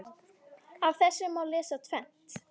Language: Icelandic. Af þessu má lesa tvennt.